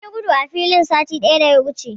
Mun yi gudu a filin satin da ya wuce.